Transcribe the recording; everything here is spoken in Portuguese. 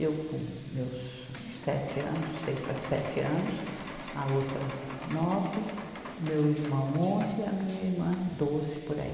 Eu com meus sete anos, seis para sete anos, a outra nove, meu irmão onze e a minha irmã doze, por aí.